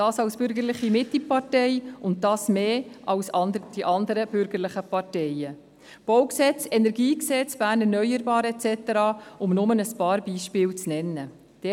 Dies als bürgerliche Mittepartei und dies mehr als die anderen bürgerlichen Parteien; Baugesetz (BauG), Kantonales Energiegesetz (KEnG), «Bern erneuerbar» et cetera – um nur ein paar Beispiele zu nennen.